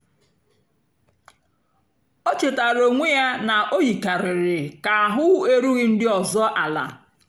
o chétàara onwé ya na o yìkàrị̀rị́ kà àhụ́ èrùghị́ ndí ọ́zọ́ àla.